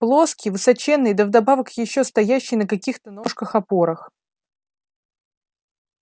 плоский высоченный да вдобавок ещё стоящий на какихто ножках-опорах